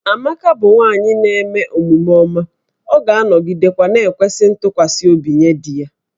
Amaka bụ nwanyị na-eme omume ọma, ọ ga-anọgidekwa na-ekwesị ntụkwasị obi nye di ya